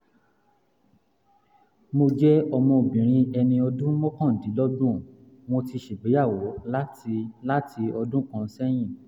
mo jẹ́ ọmọbìnrin ẹni ọdún mọ́kàndínlọ́gbọ̀n mo ti ṣègbéyàwó láti láti ọdún kan sẹ́yìn